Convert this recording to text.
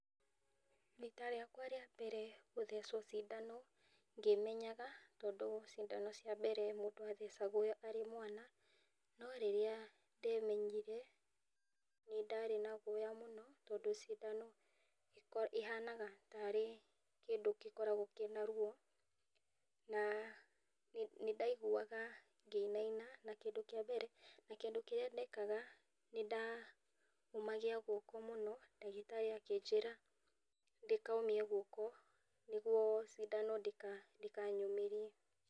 Rita rĩakwa rĩa mbere gũthecwo cindano ngĩmenyaga tondũ cindano cia mbere mũndũ athecagwo arĩ mwana, no rĩrĩa ndemenyire nĩ ndarĩ na ngwuya mũno tondũ cindano ihanaga tarĩ kĩndũ gĩkoragwo kĩna ruo na nĩ ndaiguaga ngĩinaina na kĩndũ kĩa mbere na kĩndũ kĩrĩa ndekaga nĩ ndaũmagia guoko mũno na akĩnjĩra ndikomie guoko nĩguo cindano ndĩkanyũmĩrie